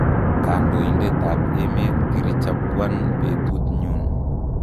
kandoitet ap emet kirichapwan petut nyun."